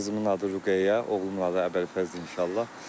Qızımın adı Ruqəyyə, oğlumun adı Əbülfəzdir inşallah.